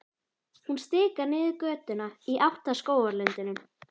Hún stikar niður götuna í átt að skógarlundinum.